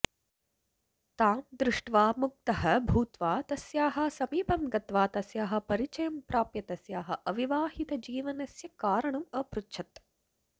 तां दृष्ट्वा मुग्धः भूत्वा तस्याः समीपं गत्वा तस्याः परिचयं प्राप्य तस्याः अविवाहितजीवनस्य कारणम् अपृच्छत्